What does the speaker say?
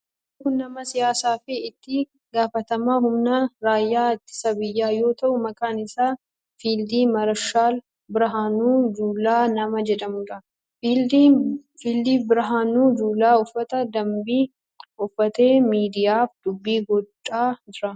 Namni kun Nama siyaasaa fi itti gaafatamaa humna raayyaa ittisa biyyaa yoo ta'u maqaan isaa Fiild maarshaal Birahaanuu Juulaa nama jedhamudha. Fiild Birahaanuu Juulaa uffata dambii uffatee miidiyaaf dubbii godha jira.